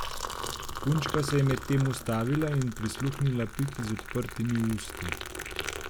Punčka se je medtem ustavila in prisluhnila Piki z odprtimi usti.